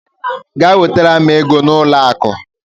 Gaa wetara m ego n'ụlọ akụ!